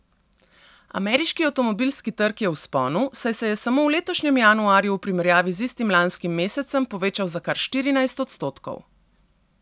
Ameriški avtomobilski trg je v vzponu, saj se je samo v letošnjem januarju v primerjavi z istim lanskim mesecem povečal za kar štirinajst odstotkov.